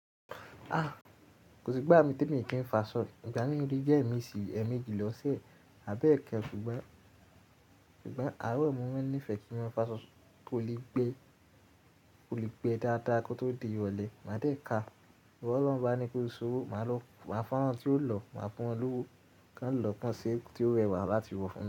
A! Kò sí gbà mí t'emi kì í fa ṣọ. Ìgbà mí ole jẹ́ ẹ̀me sí ẹ̀meeji lọ̀ṣe, àbí ẹ̀kan, ṣùgbọ́n, ṣùgbọ́n àárọ̀ ni mo máa ń ní ìfẹ́ kí n mọ fá ṣọ, kò lè gbé, kò lè gbe dáadáa kó tó di ìrọ̀lẹ́. Màá dẹ ka, bọ lọhun bá ní kó sowo, màá lọ, màá fún wọn tí ó lọ, màá fún wọn lówó, ká ń lọ kan se tí ó rẹwà láti wọ funmi.